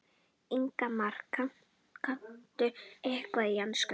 Ingimar: Kanntu eitthvað í ensku?